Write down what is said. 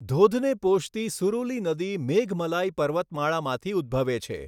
ધોધને પોષતી સુરુલી નદી મેઘમલાઈ પર્વતમાળામાંથી ઉદ્ભવે છે.